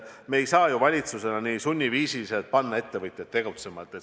Me ei saa valitsusena sunniviisiliselt panna ettevõtjaid tegutsema.